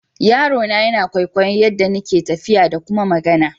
Yarona yana kwaikwayon yaɗɗa ina tafiya ɗa ƙuma magana.